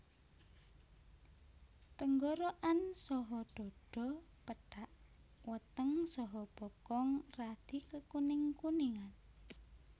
Tenggorokan saha dhadha pethak weteng saha bokong radi kekuning kuningan